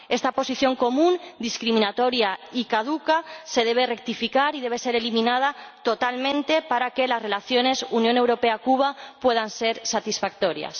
Esa Posición Común, discriminatoria y caduca, se debe rectificar y debe ser eliminada totalmente para que las relaciones Unión Europea Cuba puedan ser satisfactorias.